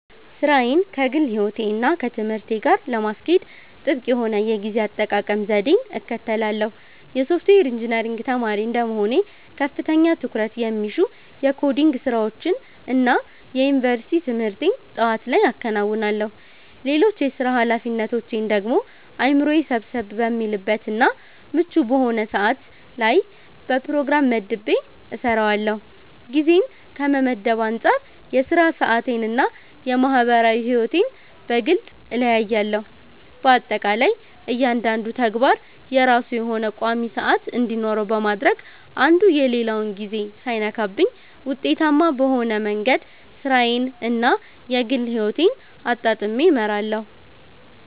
ሥራዬን ከግል ሕይወቴ እና ከትምህርቴ ጋር ለማስኬድ ጥብቅ የሆነ የጊዜ አጠቃቀም ዘዴን እከተላለሁ። የሶፍትዌር ኢንጂነሪንግ ተማሪ እንደመሆኔ ከፍተኛ ትኩረት የሚሹ የኮዲንግ ስራዎችን እና የዩኒቨርሲቲ ትምህርቴን ጠዋት ላይ አከናውናለሁ። ሌሎች የሥራ ኃላፊነቶቼን ደግሞ አእምሮዬ ሰብሰብ በሚልበት እና ምቹ በሆነ ሰዓት ላይ በፕሮግራም መድቤ እሰራዋለሁ። ጊዜን ከመመደብ አንፃር የሥራ ሰዓቴን እና የማህበራዊ ሕይወቴን በግልጽ እለያለሁ። በአጠቃላይ እያንዳንዱ ተግባር የራሱ የሆነ ቋሚ ሰዓት እንዲኖረው በማድረግ አንዱ የሌላውን ጊዜ ሳይነካብኝ ውጤታማ በሆነ መንገድ ሥራዬን እና የግል ሕይወቴን አጣጥሜ እመራለሁ።